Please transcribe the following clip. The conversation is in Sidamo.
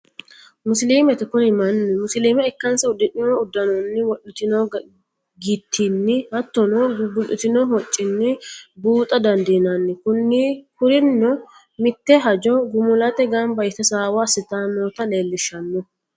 Musiliimete, kuni mani musiliime ika'nsa udidhino udanonni wodhitino gitini hattonno gu'gulitino hoccini biuxa dandinnanni, kurino mite hajo gimulate gamba yite hasaw asitanotta leelishanno